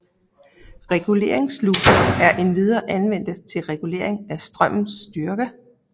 Reguleringssluser er endvidere anvendte til regulering af strømmes styrke